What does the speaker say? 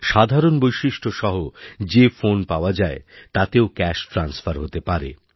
সাধারণ বৈশিষ্ট্যসহ যে ফোন পাওয়া যায় তাতেও ক্যাশট্রান্সফার হতে পারে